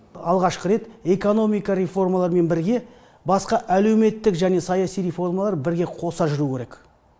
алғашқы рет экономика реформаларымен бірге басқа әлеуметтік және саяси реформалар бірге қоса жүруі керек